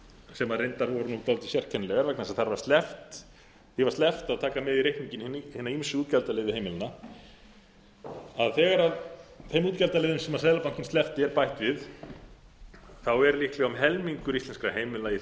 sem reyndar voru dálítið sérkennilegar vegna þess að því var sleppt að taka með í reikninginn hina ýmsu útgjaldaliði heimilanna að þegar þeim útgjaldaliðum sem seðlabankinn sleppti er bætt við er líklega um helmingur íslenskra heimila í